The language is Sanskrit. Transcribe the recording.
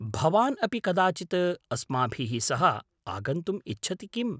भवान् अपि कदाचित् अस्माभिः सह आगन्तुम् इच्छति किम्?